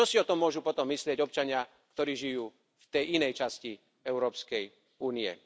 A čo si o tom môžu potom myslieť občania, ktorí žijú v tej inej časti Európskej únie?